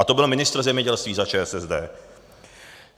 A to byl ministr zemědělství za ČSSD.